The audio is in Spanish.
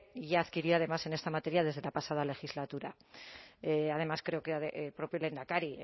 y adquiría además en esta materia desde la pasada legislatura además creo que el propio lehendakari